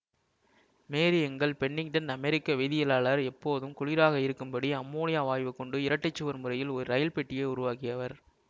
மேரி Engle Pennington அமெரிக்க வேதியியலாளர் எப்போதும் குளிராக இருக்கும்படி அம்மோனியா வாயுவைக் கொண்டு இரட்டைச்சுவர் முறையில் ஒரு ரெயில்பெட்டியை உருவாக்கியவர்